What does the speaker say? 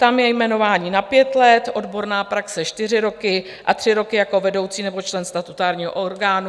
Tam je jmenování na pět let, odborná praxe čtyři roky a tři roky jako vedoucí nebo člen statutárního orgánu.